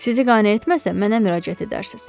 Sizi qane etməsəm, mənə müraciət edərsiniz.